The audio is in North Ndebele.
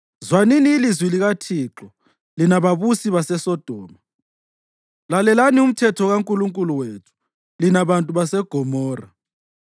Zwanini ilizwi likaThixo, lina babusi baseSodoma, lalelani umthetho kaNkulunkulu wethu, lina bantu baseGomora!